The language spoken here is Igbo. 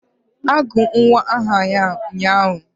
Agụrụ m nwa m aha ụnyaahụ